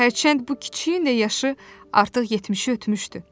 Hərçənd bu kiçiyin də yaşı artıq 70-i ötmüşdü.